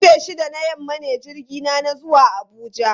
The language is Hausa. Karfe shida na yamma ne jirgina na zuwa Abuja.